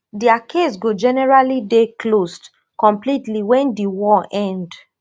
dia case go generally dey closed completely wen di war end